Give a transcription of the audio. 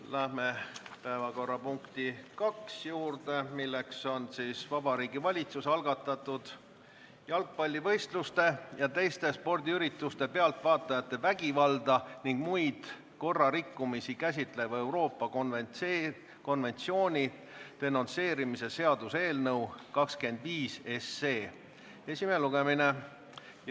Läheme päevakorrapunkti nr 2 juurde, milleks on Vabariigi Valitsuse algatatud jalgpallivõistluste ja teiste spordiürituste pealtvaatajate vägivalda ning muid korrarikkumisi käsitleva Euroopa konventsiooni denonsseerimise seaduse eelnõu 25 esimene lugemine.